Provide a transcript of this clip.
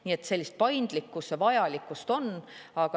Nii et sellist paindlikkuse vajalikkust on.